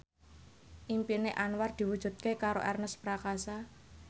impine Anwar diwujudke karo Ernest Prakasa